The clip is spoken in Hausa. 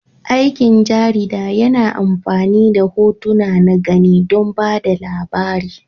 Aikin jarida yana amfani da hotuna na gani don ba da labari.